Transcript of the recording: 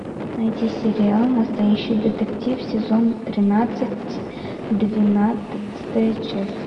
найти сериал настоящий детектив сезон тринадцать двенадцатая часть